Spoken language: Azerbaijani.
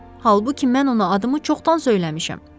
Halbuki mən ona adımı çoxdan söyləmişəm.